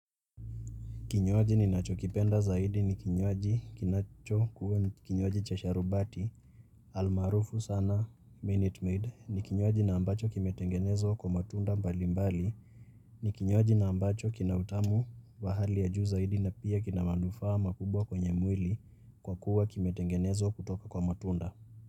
Kinywaji ninachokipenda zaidi ni kinywaji kinacho kuwa kinywaji cha sharubati almarufu sana Minute Maid. Ni kinywaji na ambacho kimetengenezwa kwa matunda mbali mbali. Ni kinywaji na ambacho kina utamu wa hali ya juu zaidi na pia kina manufaa makubwa kwenye mwili kwa kuwa kimetengenezwa kutoka kwa matunda.